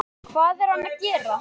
Hvað er hann að gera?